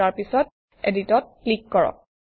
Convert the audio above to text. আৰু তাৰপিছত Edit অত ক্লিক কৰক